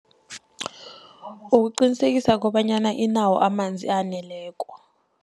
Ukuqinisekisa kobanyana inawo amanzi aneleko.